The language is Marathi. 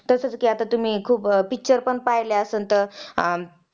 अग्नि शक्तीचे आदिग्य असते शारीरिक बलाचा क्रमशहा रास होतो व ग्रीष्म ऋतू बलाचा अत्यंतिक नाश होतो.